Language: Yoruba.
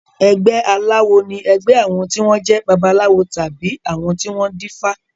Ẹgbé aláwo ní ẹgbé àwọn tí wọ́n jẹ́ babaláwo tàbí àwọn tí wọ́n dífá.